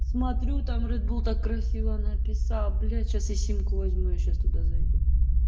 смотрю там ред бул так красиво написал блять сейчас я симку возьму я сейчас туда зайду